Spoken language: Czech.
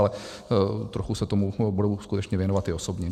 Ale trochu se tomu budu skutečně věnovat i osobně.